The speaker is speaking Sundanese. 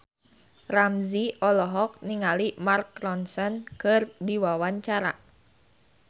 Ramzy olohok ningali Mark Ronson keur diwawancara